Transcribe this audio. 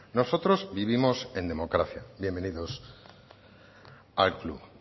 nosotros vivimos en democracia bienvenidos al club